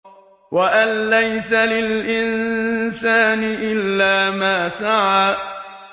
وَأَن لَّيْسَ لِلْإِنسَانِ إِلَّا مَا سَعَىٰ